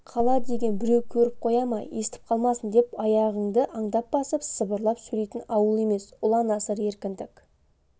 қала деген біреу көріп қоя ма естіп қалмасын деп аяғыңды аңдап басып сыбырлап сөйлейтін ауыл емес ұлан-асыр еркіндік